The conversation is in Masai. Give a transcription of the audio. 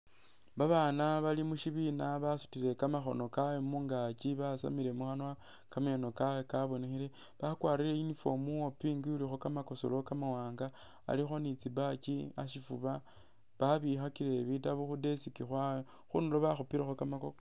Babaana bali mushibiina basutile kamakhono kaabwe mungaaki basamile mukhanwa kameeno kaabwe kabonekhele bakwarile uniform uwa pink ulikho kamakusulo kamawaanga alikho ni tsi badge ashifuba babikhakile bitaabu khu'desk tsabwe khundulo bakhupilekho kamakokwe.